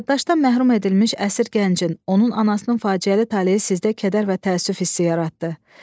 Yaddaşdan məhrum edilmiş əsir gəncin, onun anasının faciəli taleyi sizdə kədər və təəssüf hissi yaratdı.